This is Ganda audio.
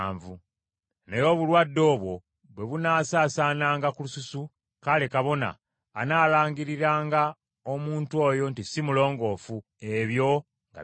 Naye obulwadde obwo bwe bunaasaasaananga ku lususu, kale kabona analangiriranga omuntu oyo nti si mulongoofu, ebyo nga bigenge.